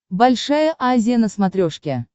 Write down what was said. большая азия на смотрешке